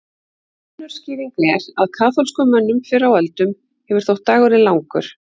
Önnur skýring er að kaþólskum mönnum fyrr á öldum hefur þótt dagurinn langur.